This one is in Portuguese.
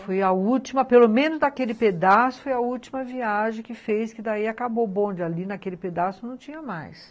Foi a última, pelo menos daquele pedaço, foi a última viagem que fez que daí acabou o bonde, ali naquele pedaço não tinha mais.